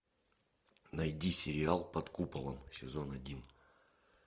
найди сериал под куполом сезон один